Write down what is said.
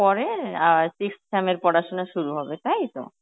পরে আর sixth sem এর পড়াশোনা শুরু হবে তাই তো?